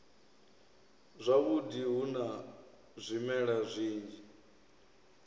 zwavhudi hu na zwimela zwinzhi